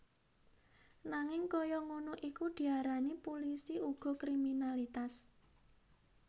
Nanging kaya ngono iku diarani pulisi uga kriminalitas